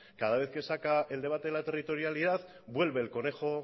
cada vez que saca el debate de la territorialidad vuelve el conejo